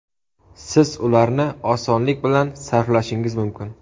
Siz ularni osonlik bilan sarflashingiz mumkin!